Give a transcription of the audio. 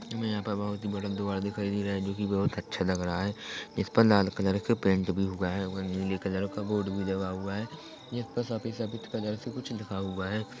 हमे यहाँ पर बहुत ही बड़ा द्वार दिखाई दे रहा है जो की बहुत अच्छा लग रहा है इस पर लाल कलर के पेंट भी हुआ है और नीले कलर का बोर्ड भी लगा हुआ है इसपे सफेद सफेद कलर से कुछ लिखा हुआ है।